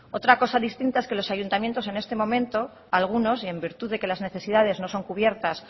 otra cosa distinta es que los ayuntamientos en este momento algunos y en virtud de que las necesidades no son cubiertas